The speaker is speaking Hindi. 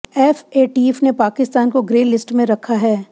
एफएटीफ ने पाकिस्तान को ग्रे लिस्ट में रखा है